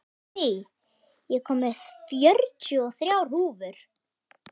Kristný, ég kom með fjörutíu og þrjár húfur!